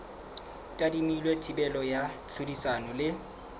tadimilwe thibelo ya tlhodisano le